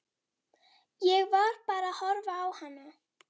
Ég var bara að horfa á hana.